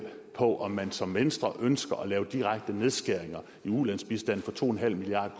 på om man som venstre ønsker at lave direkte nedskæringer i ulandsbistanden for to milliard